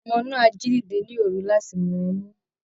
Ọmọ náà á jí dìde ní òru láti mú ọmú